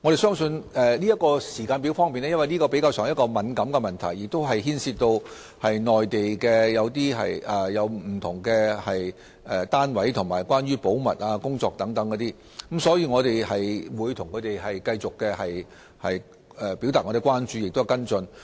在時間表方面，由於這是比較敏感的問題，亦涉及內地不同單位及保密工作等，因此我們會向他們繼續表達關注及作出跟進。